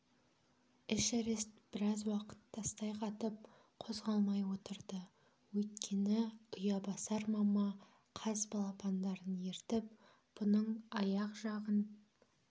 эшерест біраз уақыт тастай қатып қозғалмай отырды өйткені ұябасар мама қаз балапандарын ертіп бұның аяқ жағын